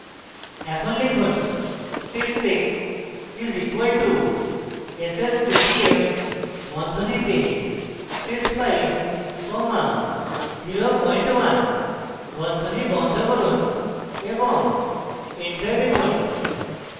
এখন লিখুন sys 6 is equal two s s 2 t f বন্ধনীতে sys 5 comma 01 বন্ধনী বন্ধ করুন এবং enter টিপুন